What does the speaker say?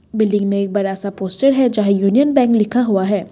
Building में एक बड़ा सा पोस्टर है जहां यूनियन बैंक लिखा हुआ है।